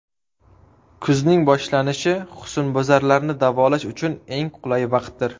Kuzning boshlanishi husnbuzarlarni davolash uchun eng qulay vaqtdir.